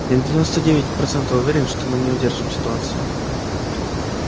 я на девяносто девять процентов уверен что мы не удержим ситуацию